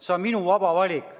See on minu vaba valik.